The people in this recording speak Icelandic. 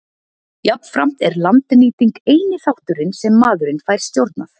Jafnframt er landnýting eini þátturinn sem maðurinn fær stjórnað.